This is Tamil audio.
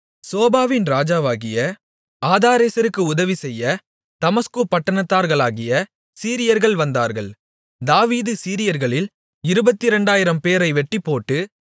சோபாவின் ராஜாவாகிய ஆதாரேசருக்கு உதவிசெய்ய தமஸ்கு பட்டணத்தார்களாகிய சீரியர்கள் வந்தார்கள் தாவீது சீரியர்களில் இருபத்திரெண்டாயிரம்பேரை வெட்டிப்போட்டு